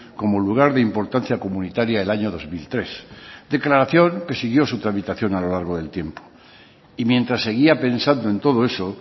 como lugar de importancia comunitaria el año dos mil tres declaración que siguió su tramitación a lo largo del tiempo y mientras seguía pensando en todo eso